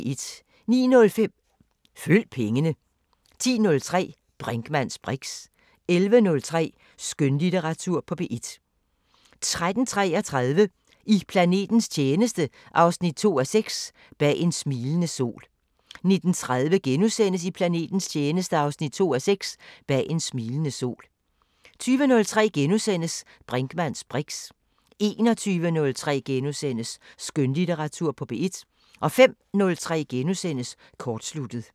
09:05: Følg pengene 10:03: Brinkmanns briks 11:03: Skønlitteratur på P1 13:33: I planetens tjeneste 2:6 – Bag en smilende sol 19:33: I planetens tjeneste 2:6 – Bag en smilende sol * 20:03: Brinkmanns briks * 21:03: Skønlitteratur på P1 * 05:03: Kortsluttet *